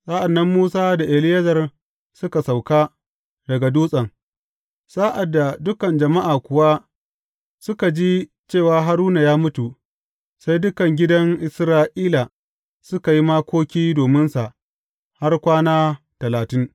Sa’an nan Musa da Eleyazar suka sauka daga dutsen, sa’ad da dukan jama’a kuwa suka ji cewa Haruna ya mutu, sai dukan gidan Isra’ila suka yi makoki dominsa har kwana talatin.